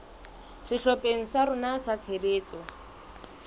sehlopheng sa rona sa tshebetso